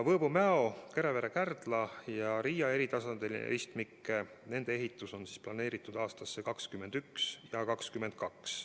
Võõbu–Mäo ja Kärevere–Kardla lõik ja Riia maantee eritasandiline ristmik – nende ehitus on planeeritud aastateks 2021 ja 2022.